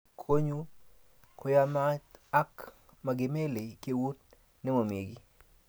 ako kora konyu koyamat ako makimelei keut nememi kiy